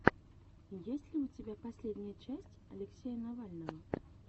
есть ли у тебя последняя часть алексея навального